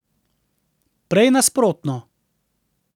Prej nasprotno.